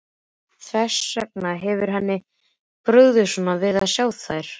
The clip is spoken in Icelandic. Þess vegna hefur henni brugðið svona við að sjá þær.